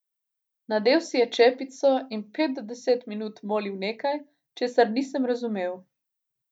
Nadel si je čepico in pet do deset minut molil nekaj, česar nisem razumel.